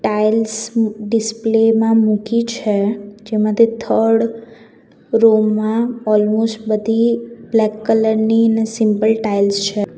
Tiles display માં મૂકી છે જેમાંથી થર્ડ રો માં ઓલમોસ્ટ બધી બ્લેક કલર ની અને સિમ્પલ ટાઇલ્સ છે.